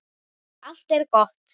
Allt er gott.